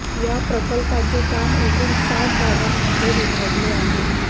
या प्रकल्पाचे काम एकूण सात भागांमध्ये विभागले आहे